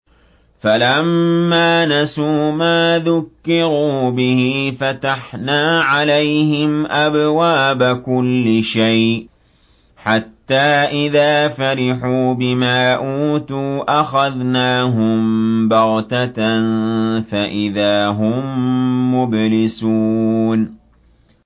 فَلَمَّا نَسُوا مَا ذُكِّرُوا بِهِ فَتَحْنَا عَلَيْهِمْ أَبْوَابَ كُلِّ شَيْءٍ حَتَّىٰ إِذَا فَرِحُوا بِمَا أُوتُوا أَخَذْنَاهُم بَغْتَةً فَإِذَا هُم مُّبْلِسُونَ